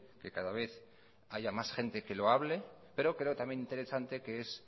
que cada vez haya más gente que lo hable pero creo también interesante que es